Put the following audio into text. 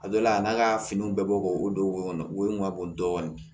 A dɔ la a n'a ka finiw bɛ bɔ k'o don o kɔnɔ wo ka bon dɔɔnin